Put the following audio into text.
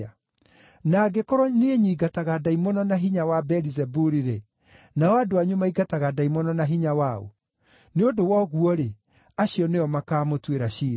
Na angĩkorwo niĩ nyiingataga ndaimono na hinya wa Beelizebuli-rĩ, nao andũ anyu maingataga ndaimono na hinya wa ũ? Nĩ ũndũ wa ũguo-rĩ, acio nĩo makaamũtuĩra ciira.